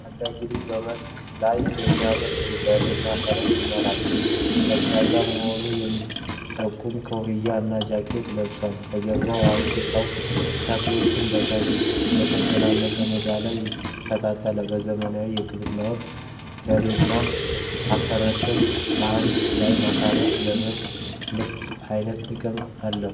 ታዳጊ ልጅ በመስክ ላይ የሚያርስ በሬ እና ፈረስ ይመራል። ቀዝቃዛ መሆኑን የሚጠቁም ኮፍያ እና ጃኬት ለብሷል። ከጀርባው አዋቂ ሰው ተክሎችን በተጨናነቀ ሜዳ ላይ ይከተላል። በዘመናዊ ግብርና ወቅት በሬናአፈረስን በአንድ ላይ ማረስ ለምርት ምን ዓይነት ጥቅሞች አሉት?